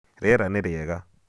Rĩera nĩ rĩega.